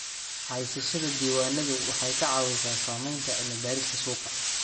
Haysashada diiwaanadu waxay ka caawisaa samaynta cilmi baarista suuqa.